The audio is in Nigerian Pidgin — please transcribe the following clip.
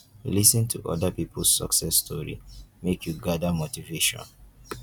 lis ten to other pipo success story make you gather motivation